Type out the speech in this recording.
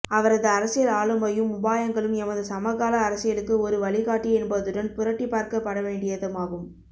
அவரது அரசியல் ஆளுமையும்இ உபாயங்களும் எமது சமகால அரசியலுக்கு ஒரு வழிகாட்டி என்பதுடன்இ புரட்டிப் பார்க்கப் படவேண்டியதுமாகும்